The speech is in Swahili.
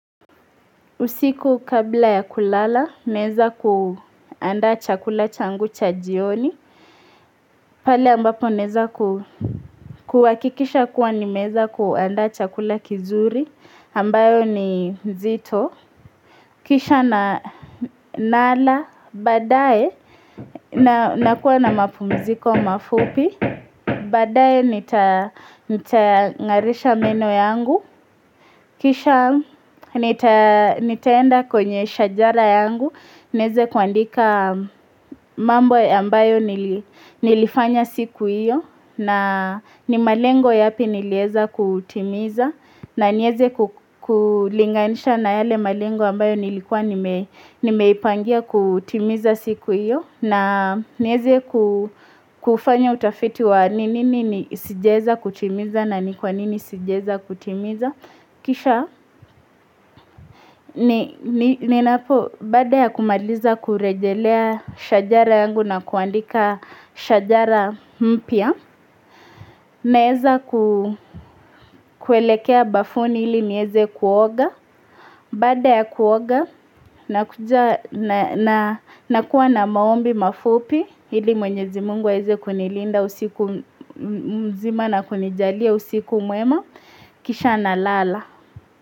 Usiku kabla ya kulala, naweza kuanda chakula changu cha jioni. Pale ambapo nawez kuhakikisha kuwa nimeweza kuanda chakula kizuri, ambayo ni zito. Kisha nala, baadaye, nakuwa na mapumziko mafupi, baadaye nitangarisha meno yangu. Kisha nitaenda kwenye shajara yangu, nianze kuandika mambo ya ambayo nilifanya siku hiyo na ni malengo yapi niliweza kutimiza na nianze kulinganisha na yale malengo ambayo nilikuwa nimeipangia kutimiza siku hiyo na nianze kufanya utafiti wa nini sijaweza kutimiza na ni kwa nini sijaweza kutimiza Kisha, baada ya kumaliza kurejelea shajara yangu na kuandika shajara mpya Naeza kuelekea bafuni ili niweze kuoga Baada ya kuoga, nakuwa na maombi mafupi Hili mwenyezi Mungu aweze kunilinda usiku mzima na kunijalia usiku mwema Kisha nalala.